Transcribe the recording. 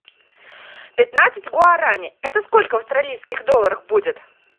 пятнадцать гуарани это сколько в австралийских долларах будет